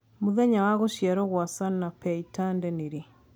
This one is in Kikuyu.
Mũthenya wa gũcĩarwo gwa Sanapei Tande nĩ rĩ?